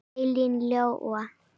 Elín Lóa.